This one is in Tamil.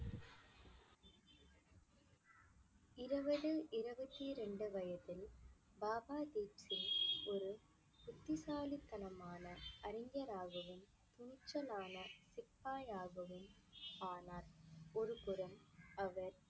இருபது இருபத்தி இரண்டு வயதில் பாபா தீப் சிங் ஒரு புத்திசாலித்தனமான அறிஞராகவும் துணிச்சலான சிப்பாயாகவும் ஆனார் ஒருபுறம் அவர்